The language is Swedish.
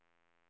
person